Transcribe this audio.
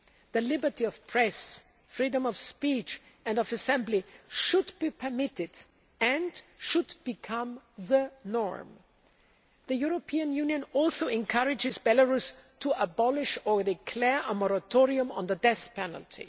The liberty of the press, freedom of speech and of assembly should be permitted and become the norm. The European Union also encourages Belarus to abolish or declare a moratorium on the death penalty.